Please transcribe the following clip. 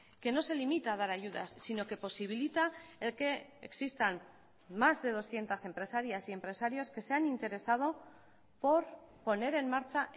que no se limita a dar ayudas sino que posibilita el que existan más de doscientos empresarias y empresarios que se han interesado por poner en marcha